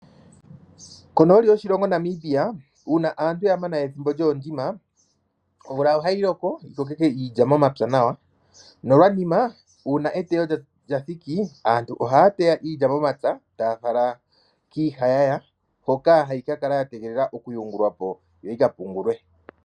Konooli yoshilongo Namibia uuna aantu ya mana ethimbo lyokulongo, omvula ohayi loko yikokeke iilya momapya nawa, nolwanima ngele eteyo lyathiki, aantu ohaya teya iilya momapya, e taya fala kiihayaya hoka hayi ka kala yategelela oku yungulwa po, yo yikale pungulwe.